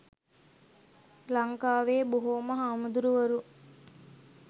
ලන්කාවෙ බොහෝම හාමුදුරුවරු